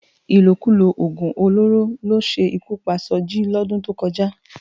Ilókúló ógún ólóró ló sé ikú pá Soji lòdún tókòjá